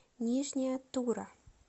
нижняя тура